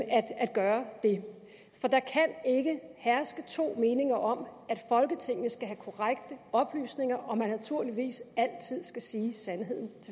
at gøre for der kan ikke herske to meninger om at folketinget skal have korrekte oplysninger og at man naturligvis altid skal sige sandheden